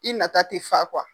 I nata tɛ fa kuwa.